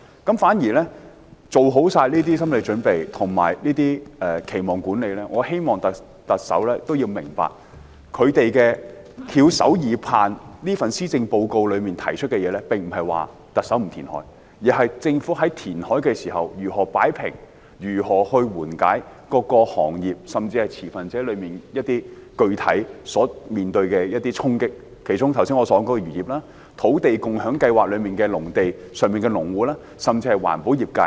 在漁民作好心理準備和期望管理後，我希望特首明白，他們翹首以盼，希望特首在這份施政報告提出的，並不是不進行填海，而是在進行填海時，政府如何擺平及緩解各個行業，甚至是各持份者具體面對的一些衝擊，其中包括我剛才提到的漁業、土地共享先導計劃下的農地所涉及的農戶，甚至是環保業界。